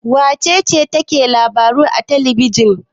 Wace ce take labaru a talbijin?